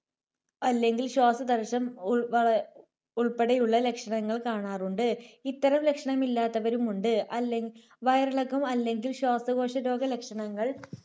അല്ലെങ്കിൽ ശ്വാസതടസ്സം ഉവ ഉൾപ്പെടെയുള്ള ലക്ഷണങ്ങൾ കാണാറുണ്ട്. ഇത്തരം ലക്ഷണമില്ലാത്തവരുമുണ്ട്. അല്ലെ വയറിളക്കം അല്ലെങ്കിൽ ശ്വാസകോശരോഗ ലക്ഷണങ്ങൾ